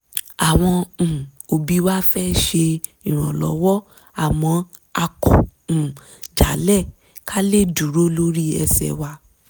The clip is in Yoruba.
àwọn um òbí wa fẹ́ ṣe ìrànlọ́wọ́ àmọ́ a kọ̀ um jálẹ̀ ká lè dúró lórí ẹsẹ̀ wa